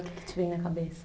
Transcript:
O que te vem na cabeça?